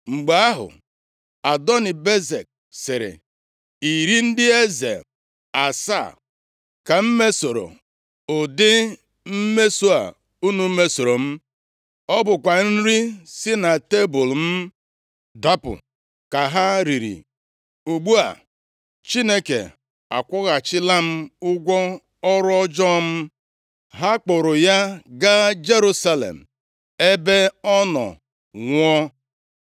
Mgbe ahụ, Adoni-Bezek sịrị, “Iri ndị eze + 1:7 Ala Kenan bụ mba e kewara na mpaghara na mpaghara, maọbụ nʼobodo nta nʼobodo nta. Mpaghara, maọbụ obodo nta ọbụla nwere eze na-achị ya. Ọtụtụ obodo ndị a gbara isi obodo ahụ gburugburu. asaa ka m mesoro ụdị mmeso a unu mesoro m, ọ bụkwa nri si na tebul m dapụ ka ha riri. Ugbu a Chineke akwụghachila m ụgwọ ọrụ ọjọọ m.” Ha kpụụrụ ya gaa Jerusalem, ebe ọ nọ nwụọ.